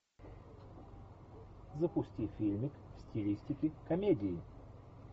запусти фильмик в стилистике комедии